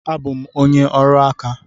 Abụ m onye ọrụ aka.